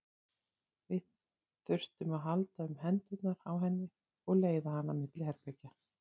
Við þurftum að halda um hendurnar á henni og leiða hana milli herbergja.